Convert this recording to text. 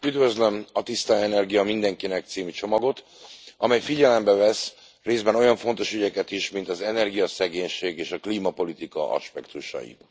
Üdvözlöm a Tiszta energia mindenkinek című csomagot, amely figyelembe vesz részben olyan fontos ügyeket is, mint az energiaszegénység és a klímapolitika aspektusai.